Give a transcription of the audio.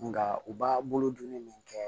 Nka u b'a bolo donni min kɛ